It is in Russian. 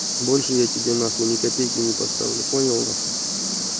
больше я тебе на хуй не копейке не поставлю понял на хуй